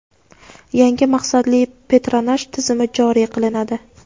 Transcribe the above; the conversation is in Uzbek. yangi maqsadli patronaj tizimi joriy qilinadi.